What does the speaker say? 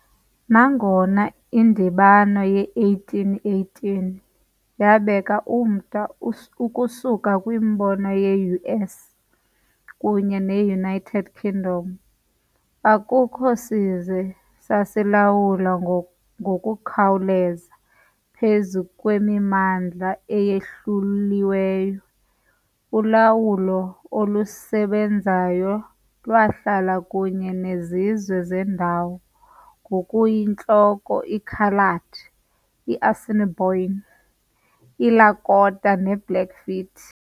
Nangona indibano ye-1818 yabeka umda ukusuka kwimbono ye-US kunye ne-United Kingdom, akukho sizwe sasilawula ngokukhawuleza phezu kwemimandla eyahluliweyo- ulawulo olusebenzayo lwahlala kunye nezizwe zendawo, ngokuyinhloko i- Coloured, i-Assiniboine, i-Lakota ne -Blackfeet .